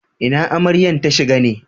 Ina Amaryan ta shiga ne?